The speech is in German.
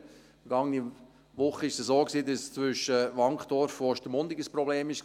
Vergangene Woche war es so, dass es zwischen Wankdorf und Ostermundigen ein Problem gab;